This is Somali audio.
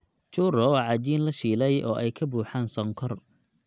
Churro waa cajiin la shiilay oo ay ka buuxaan sonkor.